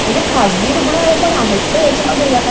म्हणजे खाजगी रुग्णालयं सुद्धा आहेत का ह्याच्यामध्ये?